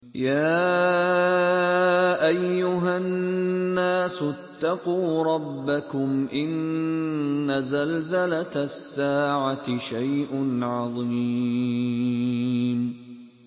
يَا أَيُّهَا النَّاسُ اتَّقُوا رَبَّكُمْ ۚ إِنَّ زَلْزَلَةَ السَّاعَةِ شَيْءٌ عَظِيمٌ